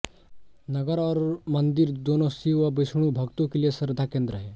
नगर और मन्दिर दोनों शिव व विष्णु भक्तों के लिए श्रद्धाकेन्द्र हैं